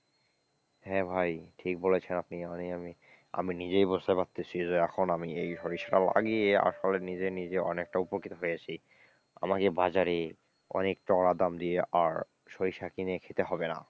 হ্যাঁ ভাই ঠিক বলেছেন আপনি, মানে আমি, নিজেই বুঝতে পারছি যে এখন আমি এই সরিষা লাগিয়ে আসলে নিজে নিজে অনেকটা উপকৃত হয়েছি, আমাকে বাজারে অনেক চড়া দাম দিয়ে আর সরিষা কিনে খেতে হবে না।